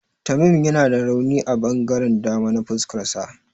Tamim yana da rauni a ɓangaren dama na fuskarsa.